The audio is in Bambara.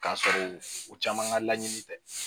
K'a sɔrɔ u caman ka laɲini tɛ